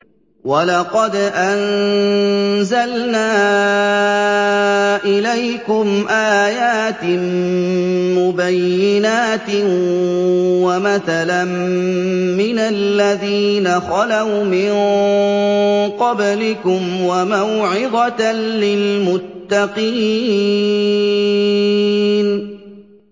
وَلَقَدْ أَنزَلْنَا إِلَيْكُمْ آيَاتٍ مُّبَيِّنَاتٍ وَمَثَلًا مِّنَ الَّذِينَ خَلَوْا مِن قَبْلِكُمْ وَمَوْعِظَةً لِّلْمُتَّقِينَ